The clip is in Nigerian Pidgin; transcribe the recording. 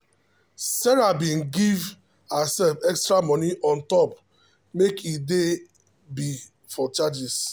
sarah bin give herself extra moni on top make e dey be for charges.